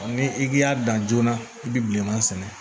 Ni i y'a dan joona i bi bilenman sɛnɛ